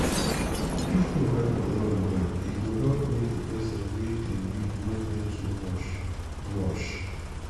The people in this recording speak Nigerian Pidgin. if hoe handle long well e go help make the person wey dey weed no bend too much. much.